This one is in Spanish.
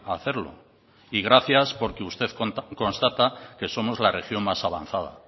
a hacerlo y gracias porque usted constata que somos la región más avanzada